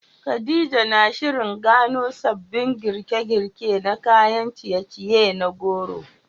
Khadija na shirin gano sabbin girke-girke na kayan ciye-ciye na goro